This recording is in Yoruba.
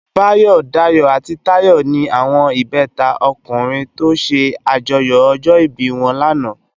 Bayo, Dayo ati Tayo ni áwòn ibètá ókùrin tò sè ájòyò òjò ibi wòn làná